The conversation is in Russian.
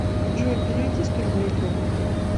джой переведи сто рублей другу